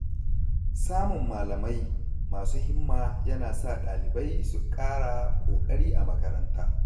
Samun malamai masu himma yana sa ɗalibai su ƙara ƙoƙari a karatu.